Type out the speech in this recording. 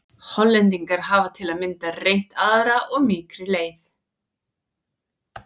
Hollendingar hafa til að mynda reynt aðra og mýkri leið.